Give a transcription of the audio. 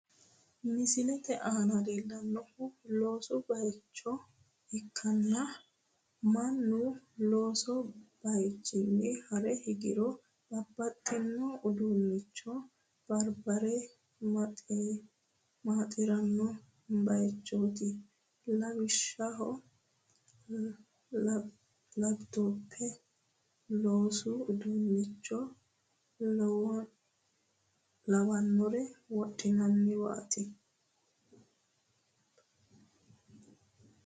Misilete aana leellannohu loosu bayicho ikkanna, mannu loosu bayichinni hare higiro bababxxino uduunnicho abbire maaxiranno bayichooti, lawishshaho, labitope, loosu uduunnicho lawinore wodhannowaati.